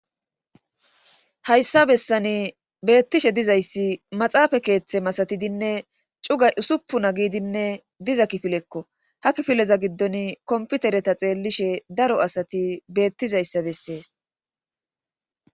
Hhayssa bessani beettishe dizayssi maxaafa keeththe masatidinne cuga usuppuna giidinne diza kifilekko ha kifileza giddon komputereta xeellishe daro asati beettizayssa bessees.